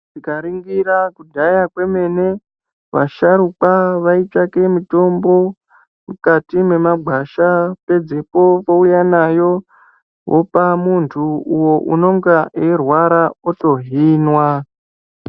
Tikaringira kudhaya kwemene vasharukwa vaitsvake mitombo mukati mwemagwasha pedzepo vouya nayo vopa muntu uyo unonga eirwara otohinwa.